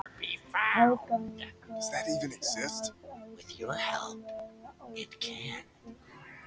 Aðgangur er algjörlega ókeypis